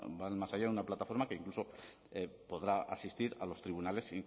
van más allá de una plataforma que incluso podrá asistir a los tribunales